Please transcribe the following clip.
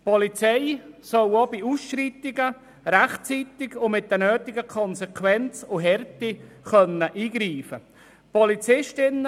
Die Polizei soll auch bei Ausschreitungen rechtzeitig und mit der nötigen Konsequenz und Härte eingreifen können.